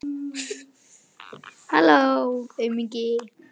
Við hlustuðum saman á útvarpið og tefldum.